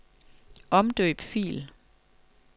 Omdøb fil.